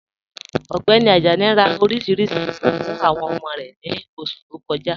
Ọgbẹni Ajani rá oríṣiríṣí ilú fún awọn ọmọ rẹ ni oṣù tó kọ̀ja..